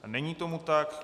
Není tomu tak.